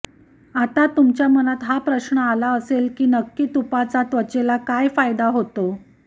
आता तुमच्या मनात हा प्रश्न आला असेल की नक्की तुपाचा त्वचेला काय फायदा होतो